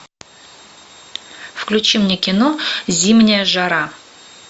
включи мне кино зимняя жара